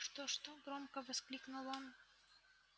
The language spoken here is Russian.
что-что громко воскликнул он